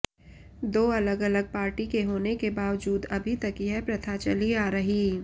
दो अलग अलग पार्टी के होने के बावजूद अभी तक यह प्रथा चली आ रही